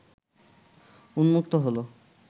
উন্মুক্ত হলো